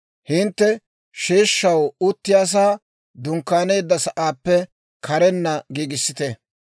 «Hintte sheeshshaw uttiyaasaa dunkkaaneedda sa'aappe karenna giigissite.